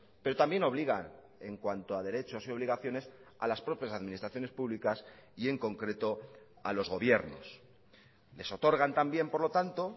pero también obliga en cuanto a derechos y obligaciones a las propias administraciones públicas y en concreto a los gobiernos les otorgan también por lo tanto